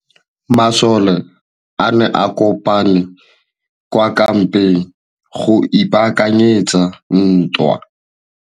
Masole a ne a kopane kwa kampeng go ipaakanyetsa ntwa.